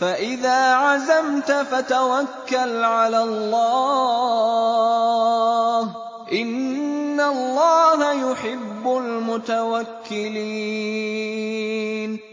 فَإِذَا عَزَمْتَ فَتَوَكَّلْ عَلَى اللَّهِ ۚ إِنَّ اللَّهَ يُحِبُّ الْمُتَوَكِّلِينَ